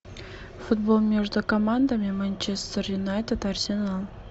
футбол между командами манчестер юнайтед арсенал